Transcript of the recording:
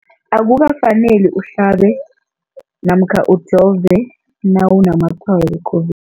Akuka faneli uhlabe namkha ujove nawu namatshayo we-COVID